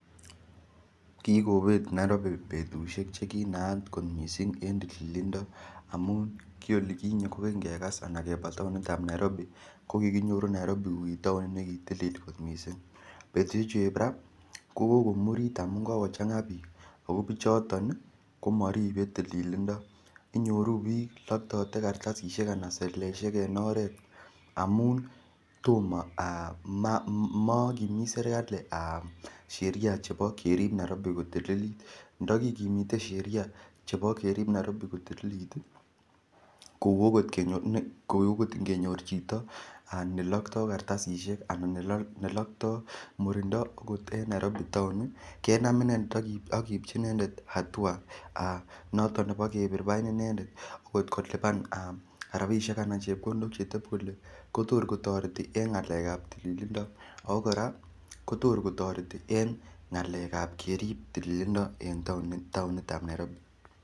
Kikobet Nairobi betushek chekinaat kot missing' en tililindo amun kiolikinye ko Kingegas anan kebaa taonitab Nairobi kokikinyoru Nairobi ko kitaonit nekitilil kot missing' betushechu eb raa kokokomurit amun kokochangaa bik oo bichoton ii komoribe tililindo inyoru bik loktote kartasishek alan seleleisiek en oret amu tomo aa mokimit sirkali sheria[vs] nebo kerib Nairobi kotililit ndo kikimite sheria chebo kerib Nairobi kotililit ii kou okot ingenyor chito nelokto kartasishek anan nelokto murindo okot en Nairobi town ii kenam inendet ak keibchi inendet hatua aa noton nebo kebir bain inendet koliban aa rabishek anan chepkondok chetep kole kotor kotoreti en ngalekab tililindo oo koraa kotor kotoreti en ngalekab kerib tililindo en taonitab Nairobi.